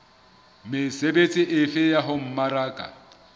mesebetsi efe ya ho mmaraka